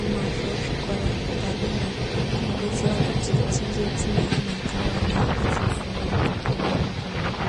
anazvo zvikora zveoadera zvinodetsera kuti tinge tine ana akawanda akafunda mukati mwenyika mwedu.